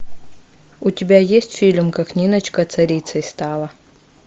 у тебя есть фильм как ниночка царицей стала